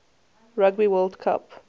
rugby world cup